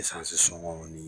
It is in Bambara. Esansi sɔngɔw ni.